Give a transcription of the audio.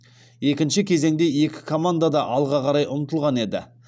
екінші кезеңде екі команда да алға қарай ұмтылған еді